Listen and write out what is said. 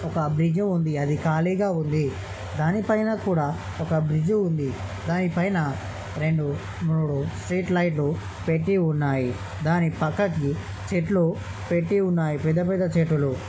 Public గా ఉంది అది ఖాళీగా ఉంది దాని పైన కూడా ఒక బ్రిడ్జ్ ఉంది. దాని పైన రెండు స్ట్రీట్ లైట్లు పెట్టి ఉన్నాయి దాని పక్కకి చెట్లు పెట్టి ఉన్నాయి పెద్ద పెద్ద చెట్లు.